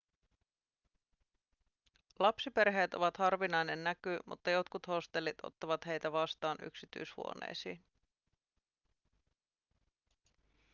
lapsiperheet ovat harvinainen näky mutta jotkut hostellit ottavat heitä vastaan yksityishuoneisiin